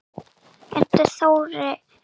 Oddur Þorri.